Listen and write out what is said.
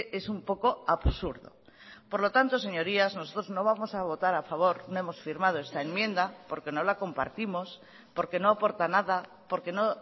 es un poco absurdo por lo tanto señorías nosotros no vamos a votar a favor no hemos firmado esta enmienda porque no la compartimos porque no aporta nada porque no